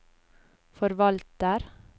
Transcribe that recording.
forvalter